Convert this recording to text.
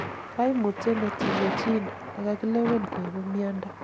kaimutyet netinyei gene nekakilewen koibu miondo